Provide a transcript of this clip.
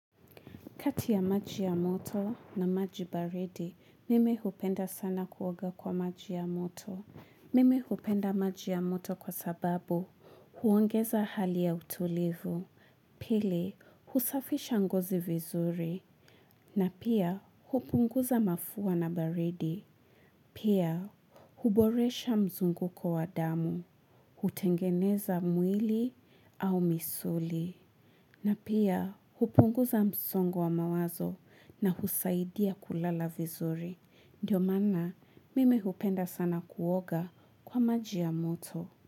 Kati ya maji ya moto na maji baridi, mimi hupenda sana kuoga kwa maji ya moto. Mimi hupenda maji ya moto kwa sababu huongeza hali ya utulivu. Pili, husafisha ngozi vizuri. Na pia, hupunguza mafua na baridi. Pia, huboresha mzunguko wa damu. Hutengeneza mwili au misuli. Na pia, hupunguza msongo wa mawazo na husaidia kulala vizuri. Ndiyo maana, mimi hupenda sana kuoga kwa maji ya moto.